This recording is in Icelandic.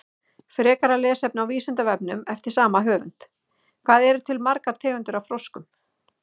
Frekara lesefni á Vísindavefnum eftir sama höfund: Hvað eru til margar tegundir af froskum?